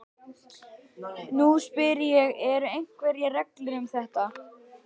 Nú spyr ég- eru einhverjar reglur um þetta?